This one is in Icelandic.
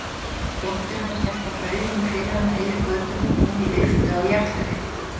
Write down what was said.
Dóttir hennar hélt á brauðinu fyrir hana yfir götuna og inn í lyftu á jarðhæðinni.